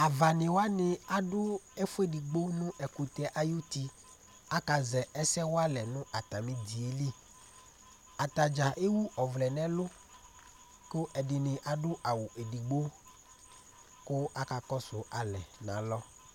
Avani wani adu ɛfʋɛdigbo nʋ ɛkʋtɛ ayʋ'ti Akazɛ ɛsɛ walɛ nʋ atami idiɛ li Atadza ewu ɔvlɛ nʋ ɛlu kʋ ɛdiní adu awu ɛdigbo kʋ akakɔsu alɛ nʋ alɔ